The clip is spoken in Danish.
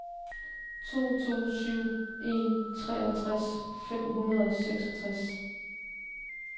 to to syv en treoghalvtreds fem hundrede og seksogtres